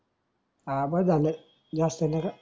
हा बस झाल ज्यास्त नग